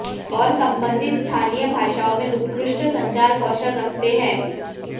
और संबंधित स्थानीय भाषाओं में उत्कृष्ट संचार कौशल रखते हैं